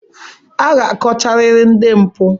A ga-akọchariri ndị mpụ.